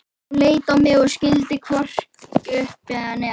Hún leit á mig og skildi hvorki upp né niður.